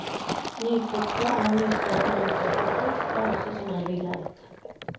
Nykokte eller nyskrelte grønnsaker og frukt er også som regel greit.